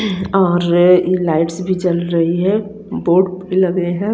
हम्म और लाइट्स भी जल रही है बोर्ड भी लगे है।